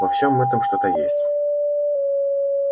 во всем этом что то есть